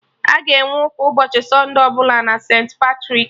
Aga enwe ụka ụbọchị sunde ọbụla na St.Patrik